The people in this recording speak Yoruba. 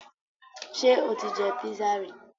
Ṣé o ti jẹ písà rí?